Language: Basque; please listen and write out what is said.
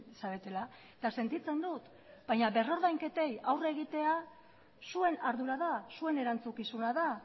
zaretela eta sentitzen dut baina berrordainketei aurre egitea zuen ardura da zuen erantzukizuna da